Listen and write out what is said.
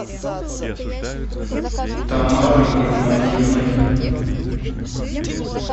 тамарой игнатьевной